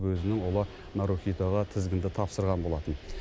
өзінің ұлы нарухитоға тізгінді тапсырған болатын